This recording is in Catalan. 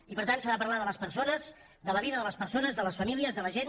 i per tant s’ha de parlar de les persones de la vida de les persones de les famílies de la gent